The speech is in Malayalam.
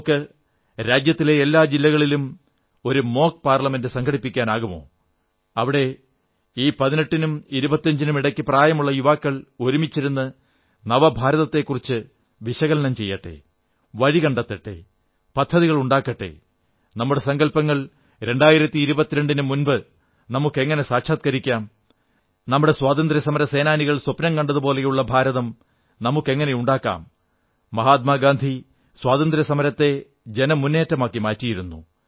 നമുക്ക് രാജ്യത്തിലെ എല്ലാ ജില്ലകളിലും ഒരു മോക് പാർലമെന്റ് സംഘടിപ്പിക്കാനാകുമോ അവിടെ ഈ 18 നും 25 നും ഇടയ്ക്ക് പ്രായമുള്ള യുവാക്കൾ ഒരുമിച്ചിരുന്ന് നവഭാരതത്തെക്കുറിച്ച് വിശകലനം ചെയ്യട്ടെ വഴി കണ്ടെത്തട്ടെ പദ്ധതികൾ ഉണ്ടാക്കട്ടെ നമ്മുടെ സങ്കല്പങ്ങൾ 2022 നു മുമ്പ് നമുക്കെങ്ങനെ സാക്ഷാത്കരിക്കാം നമ്മുടെ സ്വതന്ത്ര്യസമര സേനാനികൾ സ്വപ്നം കണ്ടതുപോലുള്ള ഭാരതം നമുക്കെങ്ങനെ ഉണ്ടാക്കാം മഹാത്മാഗാന്ധി സ്വാതന്ത്ര്യസമരത്തെ ജനമുന്നേറ്റമാക്കി മാറ്റിയിരുന്നു